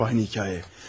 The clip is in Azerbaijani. Həp eyni hekayə.